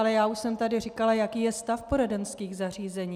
Ale já už jsem tady říkala, jaký je stav poradenských zařízení.